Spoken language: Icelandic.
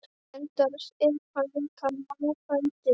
Enda er hann líka náfrændi minn!